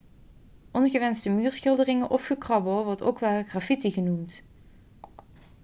ongewenste muurschilderingen of gekrabbel wordt ook wel graffiti genoemd